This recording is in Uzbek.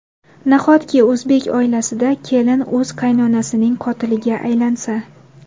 Nahotki o‘zbek oilasida kelin o‘z qaynonasining qotiliga aylansa?!